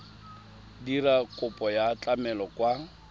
dira kopo ya tlamelo kwa